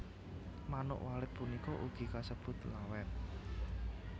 Manuk Walet punika ugi kasebut Lawet